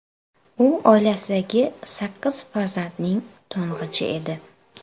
U oilasidagi sakkiz farzandning to‘ng‘ichi edi.